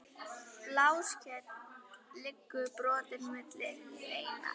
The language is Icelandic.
Bláskel liggur brotin milli hleina.